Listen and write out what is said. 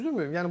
Düzdürmü?